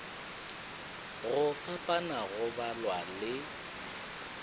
go fapana go balwa le